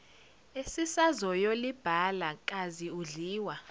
esisazoyolibhala kazi udliwa